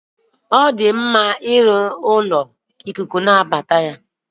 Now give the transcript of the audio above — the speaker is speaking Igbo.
Ọ dị mma ịrụnye ebe ikuku ga-abata n'ụlọ.